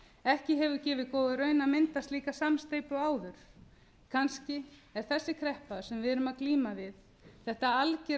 ekki hefur gefið góða raun að mynda slíka samsteypu áður kannski er þessi kreppa sem við erum að glíma við þetta algera